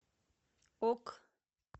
ок